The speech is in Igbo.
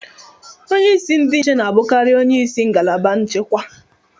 Onye isi ndị nche na-abụkarị onye isi ngalaba nchekwa.